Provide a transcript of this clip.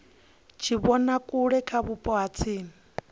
tshivhonakule kha vhupo ha tsini